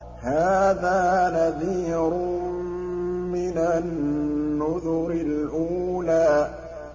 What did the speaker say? هَٰذَا نَذِيرٌ مِّنَ النُّذُرِ الْأُولَىٰ